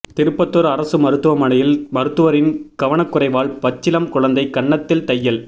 திருப்பத்தூர் அரசு மருத்துவமனையில் மருத்துவரின் கவனக்குறைவால் பச்சிளம் குழந்தை கன்னத்தில் தையல்